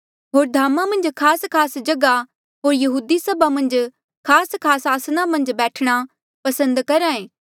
होर धामा मन्झ खासखास जगहा होर यहूदी सभा मन्झ खासखास आसना मन्झ बैठणा पसंद करहा ऐें